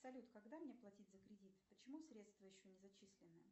салют когда мне платить за кредит почему средства еще не зачислены